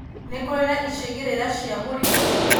Nĩkũrĩ na icigĩrĩra cia mũrimũ?